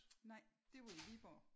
Nej. Det var i Viborg